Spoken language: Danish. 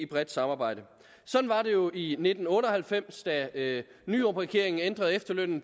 bredt samarbejde sådan var det jo i nitten otte og halvfems da nyrupregeringen ændrede efterlønnen